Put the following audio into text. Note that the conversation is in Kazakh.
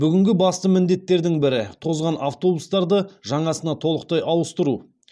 бүгінгі басты міндеттердің бірі тозған автобустарды жаңасына толықтай ауыстыру